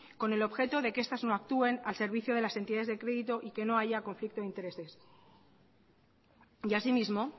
con el objeto de que estas no actúen al servicio de las entidades de crédito y que no haya conflicto de intereses y así mismo